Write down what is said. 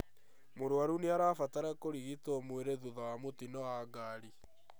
Mũrwaru nĩarabatara kũrigitwo mwĩrĩ thutha wa mũtino wa ngari